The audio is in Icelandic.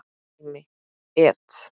Dæmi: et.